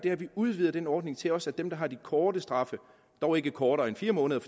er at vi udvider den ordning til også at gælde dem der har de korte straffe dog ikke kortere end fire måneder